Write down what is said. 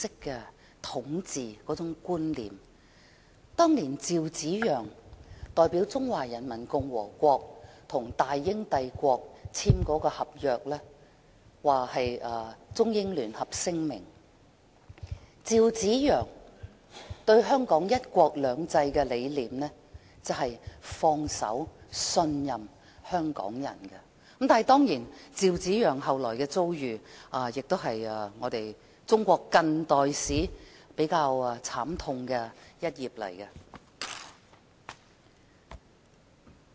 據趙紫陽當年代表中華人民共和國與大英帝國簽署的《中英聯合聲明》，趙紫陽對"一國兩制"的理念是信任和放手讓港人管治，但當然，趙紫陽後來的遭遇亦是中國近代史上比較慘痛的一頁。